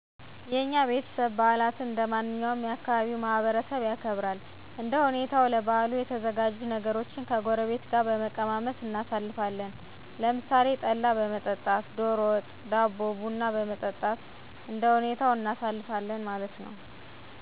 የኛ ቤተሰብ በዓላትን እንደማንኛውም የ ካባቢው ማህበረሰብ ያከብራል። እንደ ሁኔታዉ ለበዓሉ የተዘጋጁ ነገሮችን ከጎረቤት ጋር በመቀማመስ እናሣልፋለን። ለምሣሌ ጠላ በመጠጣት፣ ደሮ ወጥ፣ ዳቦ፣ ቡና በመጠጣት እንደሁኔታው እናሳልፋለን ማለት ነዉ።